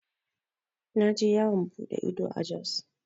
Na je yawan buɗe ido a Jos.